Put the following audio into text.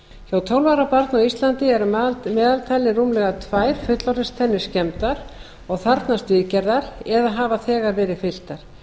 á íslandi eru að meðaltali rúmlega tvær fullorðinstennur skemmdar og þarfnast viðgerðar eða hafa þegar verið fylltar